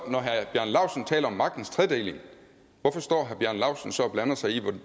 og når herre bjarne laustsen taler om magtens tredeling hvorfor står herre bjarne laustsen så og blander sig i